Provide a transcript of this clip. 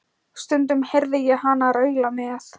Stundum heyrði ég hana raula með